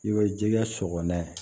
I bɛ jɛgɛ sɔgɔ n'a ye